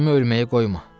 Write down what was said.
Qızımı ölməyə qoyma.